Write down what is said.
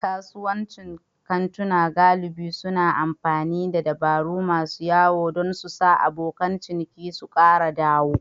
Kasuwancin kantuna galibi suna amfani da dabaru masu wayo don sa abokan ciniki su kara dawo.